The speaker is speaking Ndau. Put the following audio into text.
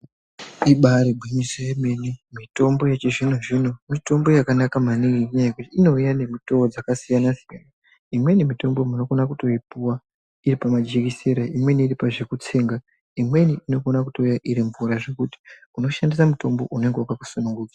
Ibairi ngwinyiso ye mene mitombo yechi zvino zvino mitombo yakanaka maningi ngenyaa yekuti ino mwiwa ne mutowo dzaka siyana siyana imweni mitombo unokona kutoi puwa ne majekesera imweni iri pakutsenga imweni inoto kona kuuya iri mvura zvekuti uno shandisa mutombo unenge wakato hlamburika.